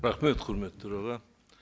рахмет құрметті төраға